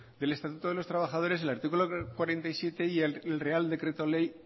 del estatuto de los trabajadores el artículo cuarenta y siete y el real decreto ley